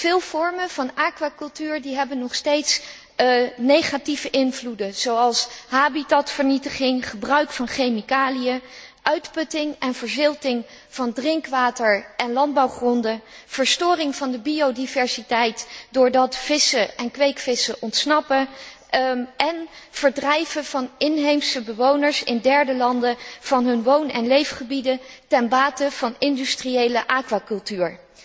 Veel vormen van aquacultuur hebben nog steeds negatieve invloeden, zoals habitatvernietiging, gebruik van chemicaliën, uitputting en verzilting van drinkwater en landbouwgronden, verstoring van de biodiversiteit doordat vissen en kweekvissen ontsnappen, en verdrijven van inheemse bewoners in derde landen van hun woon en leefgebieden ten bate van industriële aquacultuur.